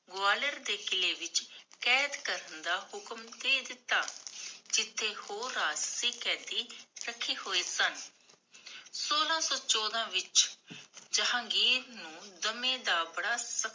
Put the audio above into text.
ਗਵਾਲੀਅਰ ਦੇ ਕਿੱਲੇ ਵਿਚ ਕੈਦ ਦਾ ਹੁਕੂਮ ਦੇ ਦਿੱਤਾ, ਜਿਥੇ ਹੋਰ ਰਾਸ਼ਟਰੀ ਕੈਦੀ ਰਖੇ ਹੋਏ ਸਨ ਸੋਲਾਹ ਸੋ ਚੋਦਾਂ ਵਿਚ , ਜਹਾਂਗੀਰ ਨੂੰ ਦਮੇ ਦਾ ਬੜਾ ਸਕਤ